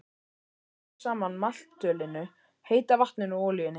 Blandið saman maltölinu, heita vatninu og olíunni.